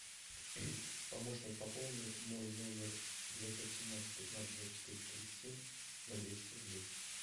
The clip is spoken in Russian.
помощник пополни мой номер девятьсот семнадцать пятнадцать двадцать четыре тридцать семь на двести рублей